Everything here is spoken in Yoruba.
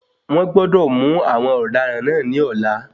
Wón gbọ́dọ̀ mú àwọn ọ̀daràn náà ní ọ̀la.